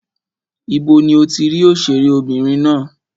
Ibo ni o ti rí òṣèré obìnrin ná?